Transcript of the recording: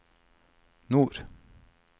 nord